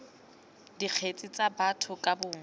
dikgetse tsa batho ka bongwe